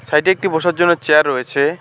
সাইডে একটি বসার জন্য চেয়ার রয়েছে।